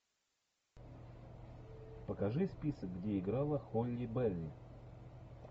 покажи список где играла холли берри